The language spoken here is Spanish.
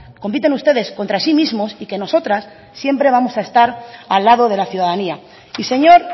compiten ustedes contra sí mismos y que nosotras siempre vamos a estar al lado de la ciudadanía y señor